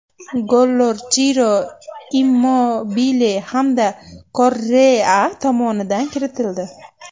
Gollar Chiro Immobile hamda Korrea tomonidan kiritildi.